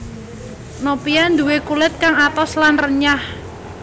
Nopia duwè kulit kang atos lan renyah